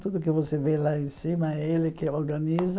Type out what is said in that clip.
Tudo que você vê lá em cima é ele que organiza.